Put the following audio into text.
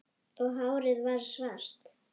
Og hárið varð svart